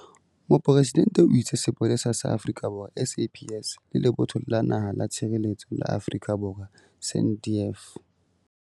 Mopresidente o itse Sepolesa sa Afrika Borwa, SAPS, le Lebotho la Naha la Tshireletso la Afrika Borwa, SANDF.